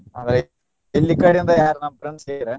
ಅಂದ್ರೆ ಇಲ್ಲಿ ಈ ಕಡೆಯಿಂದ ಯಾರ್ ನಮ್ಮ friends ಹೇಳಿರ.